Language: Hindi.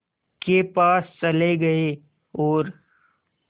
के पास चले गए और